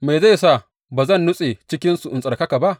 Me zai sa ba zan nutse cikinsu in tsarkaka ba?